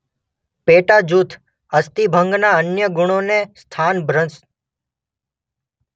પેટાજૂથ અસ્થિભંગના અન્ય ગુણોને સ્થાનભ્રંશ